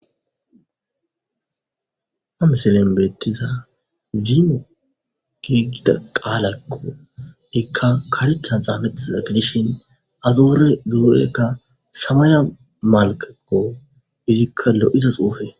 Ha miselen beettiza ziimu giigida qaalaykko ekka karectchan xaafetiza gidishin azoore duurekka samaya malkekko izikkalo7izos xuufe